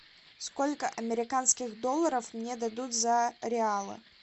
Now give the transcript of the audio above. сколько американских долларов мне дадут за реалы